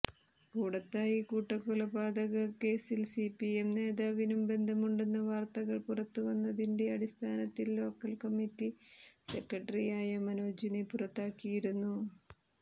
കൂടത്തായി കൂട്ടക്കൊലപാതക കേസിൽ സിപിഎം നേതാവിനും ബന്ധമുണ്ടെന്ന വാർത്തകൾ പുറത്ത് വന്നതിന്റെ അടിസ്ഥാനത്തിൽ ലോക്കൽ കമ്മിറ്റി സെക്രട്ടറിയായ മനോജിനെ പുറത്താക്കിയിരുന്നു